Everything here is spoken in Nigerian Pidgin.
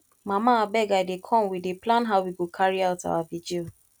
mama abeg i dey comewe dey plan how we go carry out our vigil